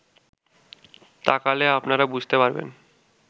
তাকালে আপনারা বুঝতে পারবেন